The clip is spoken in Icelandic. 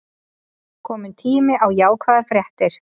Kominn tími á jákvæðar fréttir